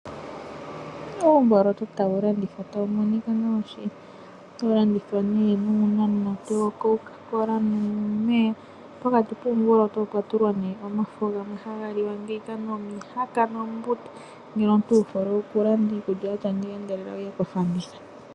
Uumboloto tawu landithwa tawu monika nawa shili. Otawu landithwa nee nuunamunate wo Coca-Cola nuumeya, pokati kuumboloto opwa tulwa nee omafo gamwe haga liwa, nomihaka nombuta. Ngele omuntu wu hole okulanda iikulya yatya ngeyi endelela wuye kofanditha.